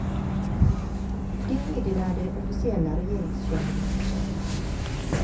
Det meddelade officiella regeringskällor på söndagen.